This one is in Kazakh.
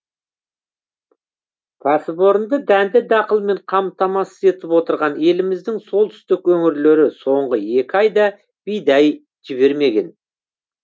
кәсіпорынды дәнді дақылмен қамтамасыз етіп отырған еліміздің солтүстік өңірлері соңғы екі айда бидай жібермеген